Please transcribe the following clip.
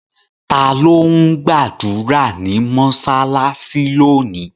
Ta ló ń gbàdúrà ní mọ́ṣáláṣí lónìí?